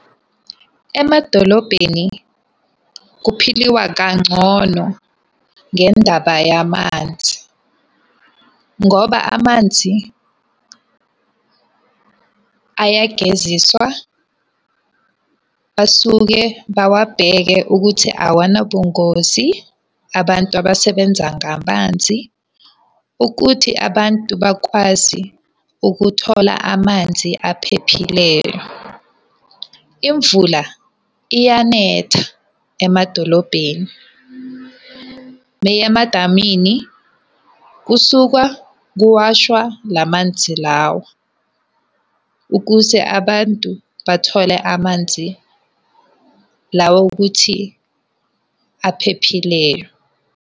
Emadolobheni kuphiliwa kangcono ngendaba yamanzi. Ngoba amanzi ayageziswa. Basuke bawabheke ukuthi awanabungozi abantu abasebenza ngamanzi. Ukuthi abantu bakwazi ukuthola amanzi aphephileyo. Imvula iyanetha emadolobheni. kusukwa kuwashwa la manzi lawo. Ukuze abantu bathole amanzi lawo okuthi aphephileyo.